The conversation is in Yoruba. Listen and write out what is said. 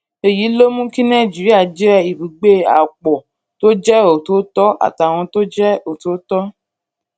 èyí ló mú kí nàìjíríà jẹ́ ibùgbé àwọn ọ̀pọ̀ tó jẹ́ ọ̀tọ̀ọ̀tọ̀ àtàwọn tó jẹ́ ọ̀tọ̀ọ̀tọ̀